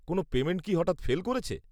কোনও পেমেন্ট কি হঠাৎ ফেল করেছে?